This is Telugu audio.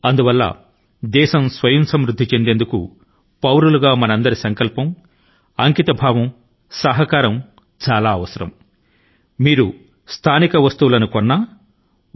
అందుకే స్వయంసమృద్ధియుత భారతదేశాన్ని సాధించే దిశ గా పౌరుని గా మన సమష్టి సంకల్పం నిబద్ధత మరియు మద్దతు లు అవసరం నిజాని కి అత్యవసరం